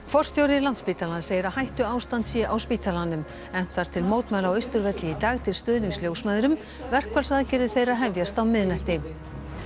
forstjóri Landspítalans segir að hættuástand sé á spítalanum efnt var til mótmæla á Austurvelli í dag til stuðnings ljósmæðrum verkfallsaðgerðir þeirra hefjast á miðnætti